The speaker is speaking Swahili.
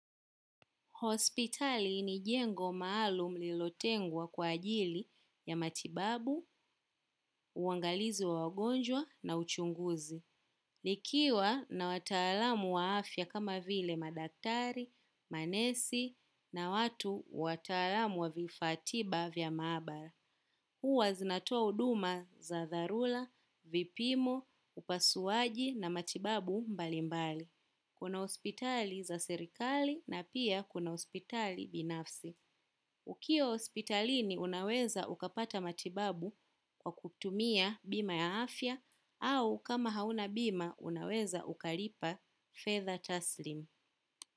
Hospitali ni jengo maalum lilotengwa kwa ajili ya matibabu, uangalizi wa wagonjwa na uchunguzi. Likiwa na wataalamu wa afya kama vile madaktari, manesi na watu wataalamu wa vifatiba vya mabara. Huwa zinatoa uduma za dharula, vipimo, upasuaji na matibabu mbalimbali. Kuna hospitali za serikali na pia kuna hospitali za binafsi. Ukiwa hospitalini unaweza ukapata matibabu kwa kutumia bima ya afya au kama hauna bima unaweza ukalipa fedha taslim.